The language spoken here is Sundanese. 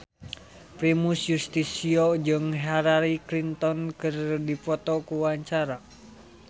Primus Yustisio jeung Hillary Clinton keur dipoto ku wartawan